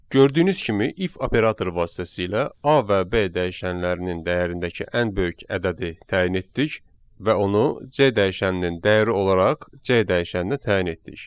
Gördüyünüz kimi if operatoru vasitəsilə A və B dəyişənlərinin dəyərindəki ən böyük ədədi təyin etdik və onu C dəyişəninin dəyəri olaraq C dəyişəninə təyin etdik.